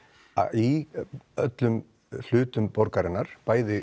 í öllum hlutum borgarinnar bæði